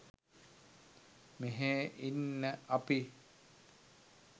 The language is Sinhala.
මෙහේ ඉන්න අපි